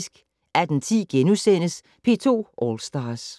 18:10: P2 All Stars *